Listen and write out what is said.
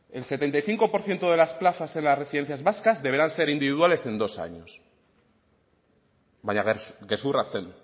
el setenta y cinco por ciento de las plazas en las residencias vascas deberán ser individuales en dos años baina gezurra zen